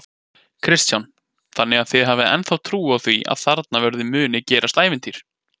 Kristján: Þannig að þið hafið ennþá trú á því að þarna verði muni gerast ævintýr?